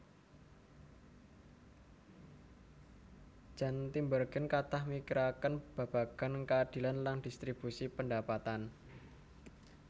Jan Tinbergen kathah mikiraken babagan keadilan lan distribusi pendapatan